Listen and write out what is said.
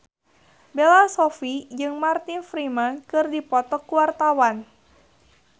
Bella Shofie jeung Martin Freeman keur dipoto ku wartawan